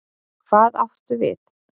Hvað áttu við?